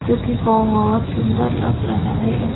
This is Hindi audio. जो कि बहुत सुंदर लग रहा है।